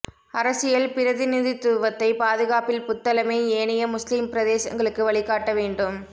அரசியல் பிரதிநிதித்துவத்தைப் பாதுகாப்பதில் புத்தளமே ஏனைய முஸ்லிம் பிரதேசங்களுக்கு வழிகாட்ட வேண்டும்